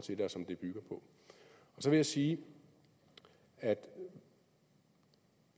som jeg sige at